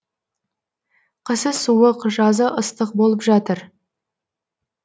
қысы суық жазы ыстық болып жатыр